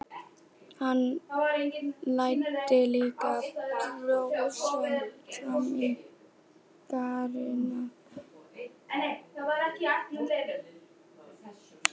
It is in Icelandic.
Hann læddi líka brosi fram á varirnar.